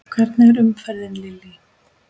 Hvernig er umferðin Lillý?